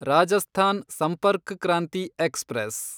Rajasthan Sampark Kranti express